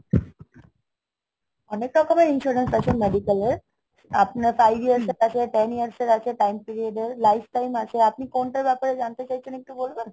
অনেক রকমের insurance আছে medical এর। আপনার five years এর আছে, ten years এর আছে, time period এর life time আছে। আপনি কোনটার ব্যাপারে জানতে চাইছেন একটু বলবেন?